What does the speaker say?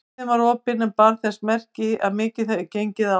Hurðin var opin en bar þess merki að mikið hefði gengið á.